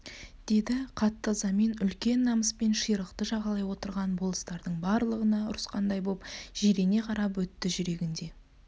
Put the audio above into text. деді қатты ызамен үлкен намыспен ширықты жағалай отырған болыстардың барлығына ұрысқандай боп жирене қарап өтті жүрегінде